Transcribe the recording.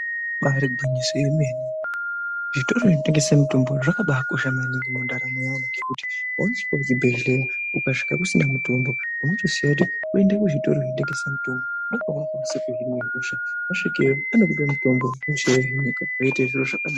Ibaari gwinyiso yemene, zvitoro zvinotengese mitombo, zvakabaakosha maningi mundaramo yavo, ngekuti woosvike kuchibhedhlera, ukasvika kusina mitombo, unotosiya, woenda kuzvitora zvinotengesa mitombo, ndokweunokwanisa kuhinwa hosha, wasvikeyo, anokupa mitombo, hosha yohinika, zvoite zviro zvakanaka.